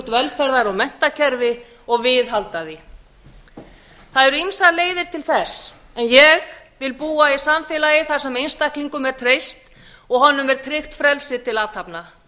velferðar og menntakerfi og viðhalda því það eru ýmsar leiðir til þess en ég vil búa í samfélagi þar sem einstaklingnum er treyst og honum tryggt frelsi til athafna